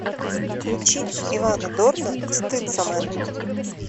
включи ивана дорна стыцамэн